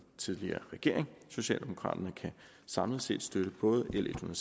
tidligere regering socialdemokraterne kan samlet set støtte både l en